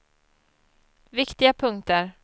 viktiga punkter